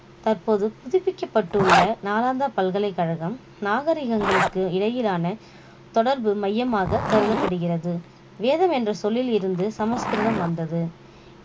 தற்போது புதுப்பிக்கப்பட்டுள்ள நாளந்தா பல்கலைக்கழகம் நாகரிகங்களுக்கு இடையிலான தொடர்பு மையமாக கருதப்படுகிறது வேதம் என்ற சொல்லில் இருந்து சமஸ்கிருதம் வந்தது